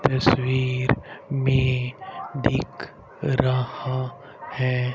तस्वीर में दिख रहा है।